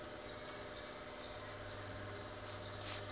eo a ka ba le